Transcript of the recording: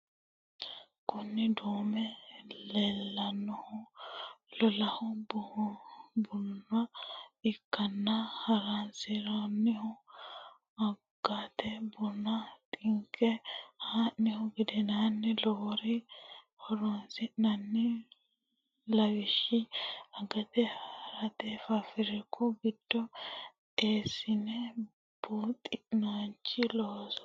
Kuni duu'me leinnohu luu'lo buna ikkanna horonsi'nannihuno agateet. buna xinqine ha'nihu gedensanni loworira horonsi'nanni lawishshaho agate, hirate, fafrikku giddo essine babaxinoricho loosate.